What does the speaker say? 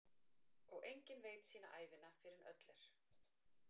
Og enginn veit sína ævina fyrr en öll er.